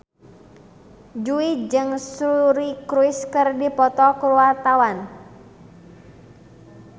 Jui jeung Suri Cruise keur dipoto ku wartawan